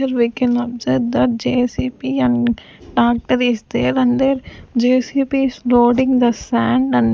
we can observe that J_C_B and tractor is there and there J_C_B is loading the sand and--